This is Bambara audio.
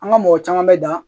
An ka mɔgɔ caman bɛ dan